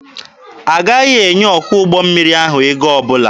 Agaghị enye ọkwọ ụgbọ mmiri ahụ ego ọbụla.